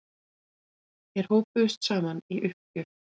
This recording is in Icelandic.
Þeir hópuðust saman í uppgjöf.